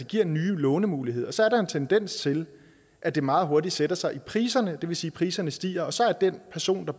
giver nye lånemuligheder så er der en tendens til at det meget hurtigt sætter sig i priserne det vil sige at priserne stiger og så er den person